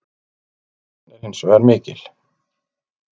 Óvissan er hins vegar mikil.